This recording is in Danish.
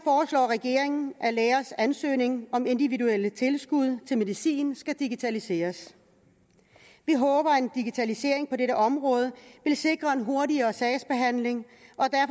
regeringen at lægers ansøgning om individuelle tilskud til medicin skal digitaliseres vi håber at en digitalisering på dette område vil sikre en hurtigere sagsbehandling